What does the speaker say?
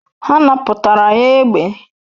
Ha napụtara ya egbe